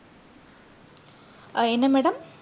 அஹ் என்ன madam